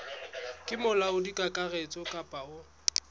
ke molaodi kakaretso kapa o